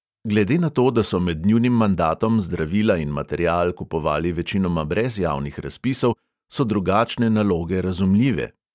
Glede na to, da so med njunim mandatom zdravila in material kupovali večinoma brez javnih razpisov, so drugačne naloge razumljive.